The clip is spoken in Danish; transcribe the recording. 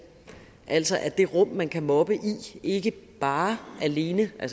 altså at det rum man kan mobbe i ikke bare alene er